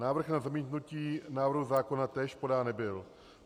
Návrh na zamítnutí návrhu zákona též podán nebyl.